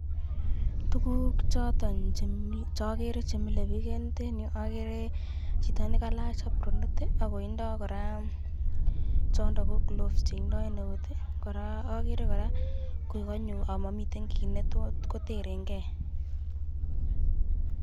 Tukuk cheagere komilebik eng yutenyu ko ilache chito apronit akoindo koraa chondo ko gloves akagere koraa kokanyo komamiten kit neterenge.